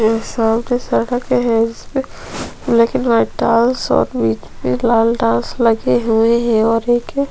ए साल के सड़क है जिसपे लेकिन वही टाइल्स और बिच में लाल टाइल्स लगे हुए है और एक--